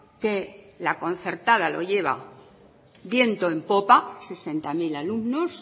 que la concertada lo lleva viento en popa sesenta mil alumnos